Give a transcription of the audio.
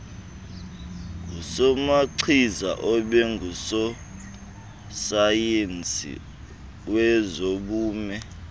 ngusomachiza abengusosayensi wezobume